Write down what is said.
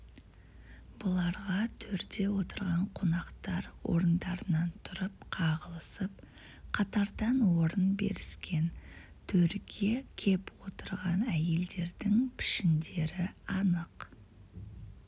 бұларға төрде отырған қонақтар орындарынан тұрып қағылысып қатардан орын беріскен төрге кеп отырған әйелдердің пішіндері анық